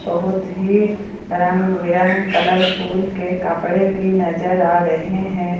बहुत ही रंग बिरंग कलरफुल के कपड़े भी नजर आ रहे हैं।